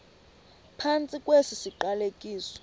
phantsi kwesi siqalekiso